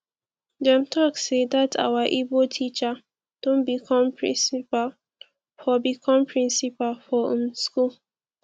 dem talk sey dat our ibo teacher don become principal for become principal for um school